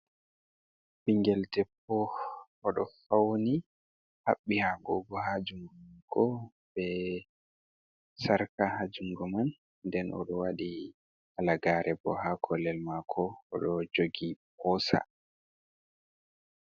Bingel ɗeppo oɗo fauni habbi agogo ha jungo be sarka ha jungo man nden oɗo waɗi halagare bo ha kollel mako oɗo jogi posa.